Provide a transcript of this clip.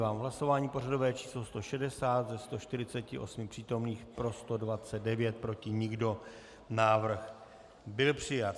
V hlasování pořadové číslo 160 ze 148 přítomných pro 129, proti nikdo, návrh byl přijat.